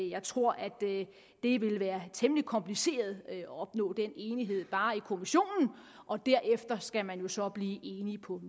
jeg tror at det vil være temmelig kompliceret at opnå den enighed bare i kommissionen og derefter skal man så blive enige på